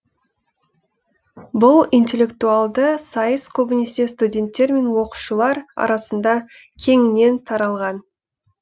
бұл интеллектуалды сайыс көбінесе студенттер мен оқушылар арасында кеңінен таралған